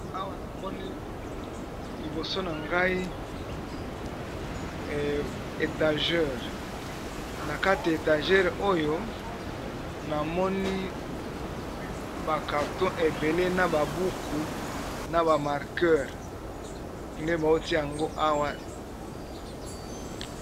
Awa namoni liboso na ngai etagere, na kati ya etagere oyo namoni ba carton ebele na ba buku na ba markere nde bautia yango awa.